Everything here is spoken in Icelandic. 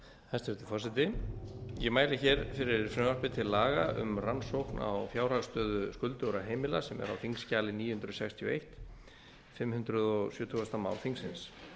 hæstvirtur forseti ég mæli hér fyrir frumvarpi til laga um rannsókn á fjárhagsstöðu skuldugra heimila sem er á þingskjali níu hundruð sextíu og einn fimm hundruð sjötugasta mál þingsins